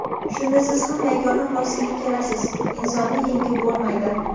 Shunda siz ham yagona xulosaga kelasiz: "Insonni yengib bo‘lmaydi!".